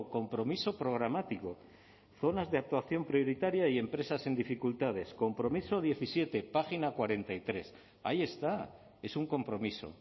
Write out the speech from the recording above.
compromiso programático zonas de actuación prioritaria y empresas en dificultades compromiso diecisiete página cuarenta y tres ahí está es un compromiso